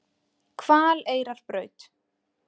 Hvaleyrarbraut